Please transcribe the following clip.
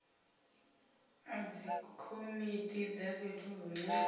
a dzikomiti dza fhethu hune